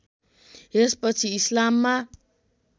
यस पछि इस्लाममा